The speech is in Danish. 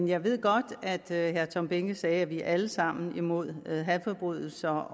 jeg ved godt at herre tom behnke sagde at vi alle sammen er imod hadforbrydelser